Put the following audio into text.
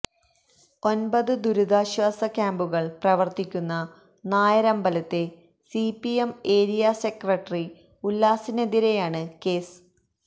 ഒൻപത് ദുരിതാശ്വാസ ക്യാമ്പുകള് പ്രവര്ത്തിക്കുന്ന നായരമ്പലത്തെ സിപിഎം ഏരിയാ സെക്രട്ടറി ഉല്ലാസിനെതിരെയാണ് കേസ്